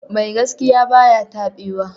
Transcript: Mai gaskiya ba ya taɓewa.